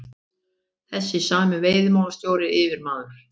Þessi sami veiðimálastjóri, yfirmaður